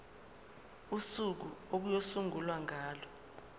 usuku okuyosungulwa ngalo